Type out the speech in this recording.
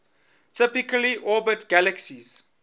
typically orbit galaxies